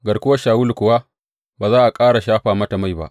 Garkuwar Shawulu kuwa, ba za a ƙara shafa mata mai ba.